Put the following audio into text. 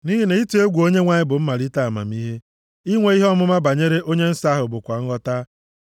Nʼihi na ịtụ egwu Onyenwe anyị bụ mmalite amamihe, inwe ihe ọmụma banyere onye Nsọ ahụ bụkwa nghọta.